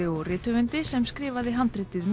og rithöfundi sem skrifaði handritið